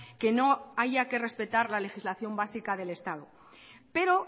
que no haya que respetar la legislación básica del estado pero